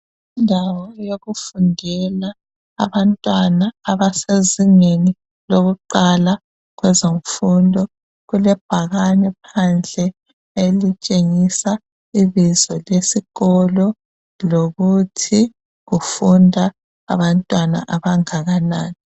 Indawo yokufundela abantwana abasezingeni lokuqala kwezenfundo. Kulebhakane phandle elitshengisa ibizo lesikolo lokuthi kufunda abantwana abangakanani.